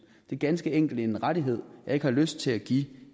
det er ganske enkelt en rettighed jeg ikke har lyst til at give